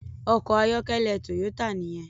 Òkò àyòkèlè Toyota niyèn